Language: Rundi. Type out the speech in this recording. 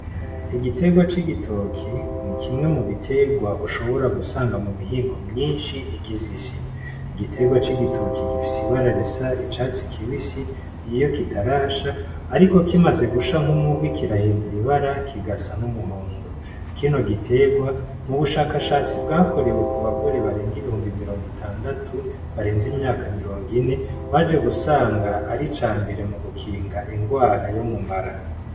Igitegwa c'igitoki ni kimwe mu biterwa ushobora gusanga mu mihingo myinshi igize isi igiterwa c'igitoki gifise ibararisa icatsi kibisi iiyo kitarasha, ariko kimaze gusha nk'umuhwi ikirahindura ibara kigasa n'umuhondo kino giterwa mu bushakashatsi bwakorewe kuba gore barenga ibihumbi mirongo itandatu barenze imyaka mirongo ine baje gusanga ari ca mbere mu gukinga ingwara yo mumara.